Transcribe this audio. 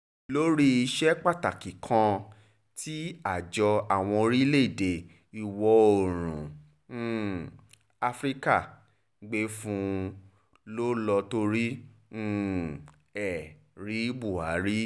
lórí iṣẹ́ pàtàkì kan tí àjọ àwọn orílẹ̀-èdè ìwọ̀-oòrùn um afrika gbé fún un ló lọ́ọ́ torí um ẹ̀ rí buhari